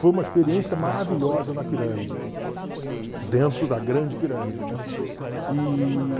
Foi uma experiência maravilhosa na pirâmide, dentro da grande pirâmide, né? E...